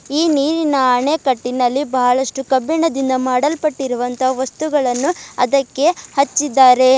ಈ ನೀರಿನ ಅಣೆಕಟ್ಟಿನಲ್ಲಿ ಬಹಳಷ್ಟು ಕಬ್ಬಿಣದಿಂದ ಮಾಡಲ್ಪಟ್ಟಿರುವಂತಹ ವಸ್ತುಗಳನ್ನು ಅದಕ್ಕೆ ಹಚ್ಚಿದ್ದಾರೆ.